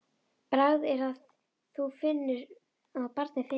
Bragð er að þá barnið finnur!